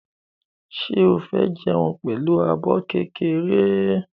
Ṣé o fẹ́ jẹun pẹ̀lú abọ́ kékeré?